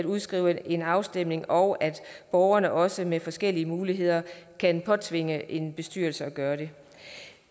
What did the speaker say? udskrive en afstemning og at borgerne også med forskellige muligheder kan påtvinge en bestyrelse at gøre det